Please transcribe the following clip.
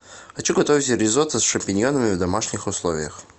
хочу готовить ризотто с шампиньонами в домашних условиях